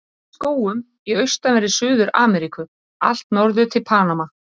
Finnst í skógum í austanverðri Suður-Ameríku allt norður til Panama.